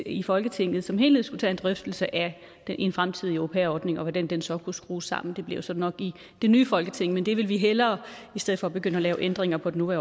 i folketinget som helhed skulle tage en drøftelse af en fremtidig au pair ordning og hvordan den så kunne skrues sammen det bliver så nok i det nye folketing men det vil vi hellere i stedet for at begynde at lave ændringer på den